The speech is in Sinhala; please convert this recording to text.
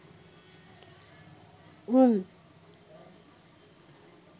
උං